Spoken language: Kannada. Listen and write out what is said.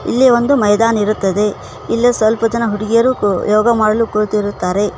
ಇಲ್ಲಿ ಒಂದು ಮೈದಾನ ಇರುತ್ತದೆ ಇಲ್ಲೂ ಸ್ವಲ್ಪ ಜನ ಹುಡ್ಗೀರು ಯೋಗ ಮಾಡಲು ಕೂಳಿತಿರುತ್ತಾರೆ.